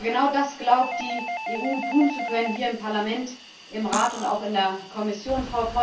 Aber genau das glaubt die EU, tun zu können hier im Parlament, im Rat und auch in der Kommission.